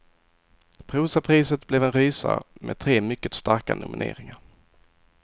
Prosapriset blev en rysare, med tre mycket starka nomineringar.